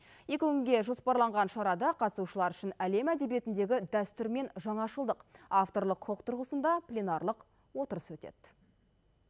екі күнге жоспарланған шарада қатысушылар үшін әлем әдебиетіндегі дәстүр мен жаңашылдық авторлық құқық тұрғысында пленарлық отырыс өтеді